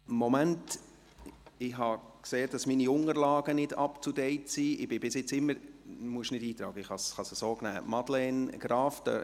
Moment … Ich habe gesehen, dass meine Unterlagen nicht up to date sind.